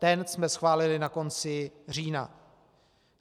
Ten jsme schválili na konci října.